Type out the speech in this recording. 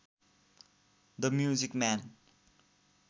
the music man